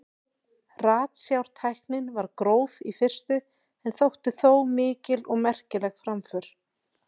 Ratsjártæknin var gróf í fyrstu en þótti þó mikil og merkileg framför.